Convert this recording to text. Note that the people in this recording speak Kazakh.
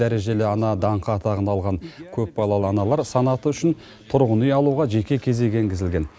дәрежелі ана даңқы атағын алған көпбалалы аналар санаты үшін тұрғын үй алуға жеке кезек енгізілген